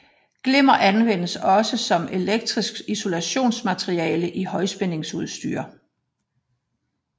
Glimmer anvendes også som elektrisk isolatormateriale i højspændingsudstyr